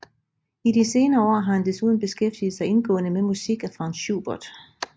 I de senere år har han desuden beskæftiget sig indgående med musik af Franz Schubert